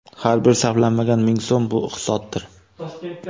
Har bir sarflanmagan ming so‘m – bu iqtisoddir.